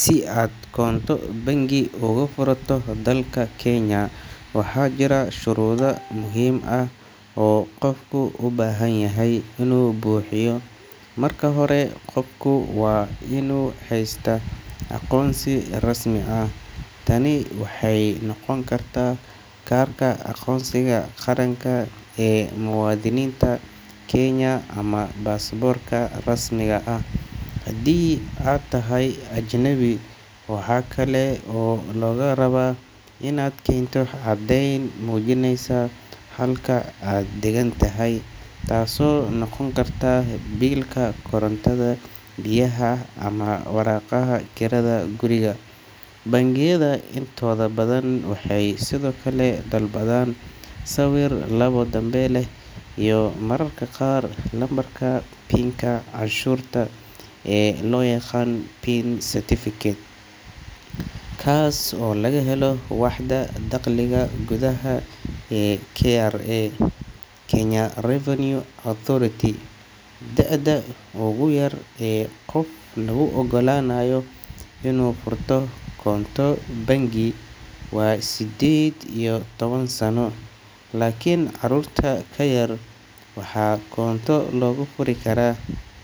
Si aad koonto bangi uga furato dalka Kenya, waxaa jira shuruudo muhiim ah oo qofku u baahan yahay inuu buuxiyo. Marka hore, qofku waa inuu haystaa aqoonsi rasmi ah. Tani waxay noqon kartaa kaarka aqoonsiga qaranka ee muwaadiniinta Kenya ama baasaboorka rasmiga ah haddii aad tahay ajnabi. Waxaa kale oo lagaa rabaa inaad keento caddeyn muujinaysa halka aad degan tahay, taasoo noqon karta biilka korontada, biyaha ama waraaqaha kirada guriga. Bangiyada intooda badan waxay sidoo kale dalbadaan sawir labo danbe leh iyo mararka qaar lambarka canshuurta ee loo yaqaan PIN certificate, kaas oo laga helo waaxda dakhliga gudaha ee KRA – Kenya Revenue Authority. Da'da ugu yar ee qof lagu oggolaanayo inuu furto koonto bangi waa siddeed iyo toban sano, laakiin carruurta ka yar waxaa koonto loogu furi karaa